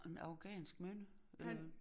En afghansk mynde eller